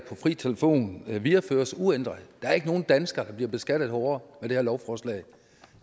fri telefon videreføres uændret der er ikke nogen dansker der bliver beskattet hårdere ved det her lovforslag